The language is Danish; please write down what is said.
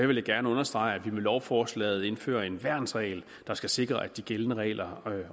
vil jeg gerne understrege at vi med lovforslaget indfører en værnsregel der skal sikre at de gældende regler